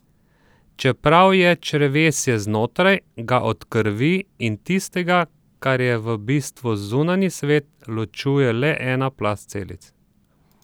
Čeprav je črevesje znotraj, ga od krvi in tistega, kar je v bistvu zunanji svet, ločuje le ena plast celic.